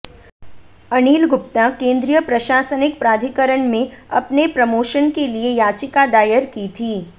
अनिल गुप्ता केंद्रीय प्रशासनिक प्राधिकरण में अपने प्रमोशन के लिए याचिका दायर की थी